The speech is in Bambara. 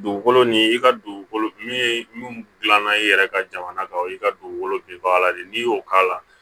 Dugukolo ni i ka dugukolo min min gilan na i yɛrɛ ka jamana kan o y'i ka dugukolo binbaga de ye n'i y'o k'a la